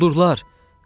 Quldurlar!